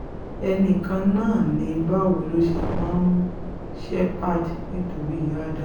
ẹnì kan ni báwo ló ṣe máa mú shepherd nítorí ádám